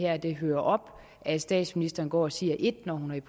at det hører op at statsministeren går og siger et når hun er